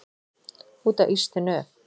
Út á ystu nöf.